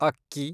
ಅಕ್ಕಿ